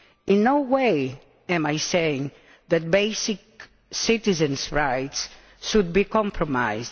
In no way am I saying that basic citizens' rights should be compromised.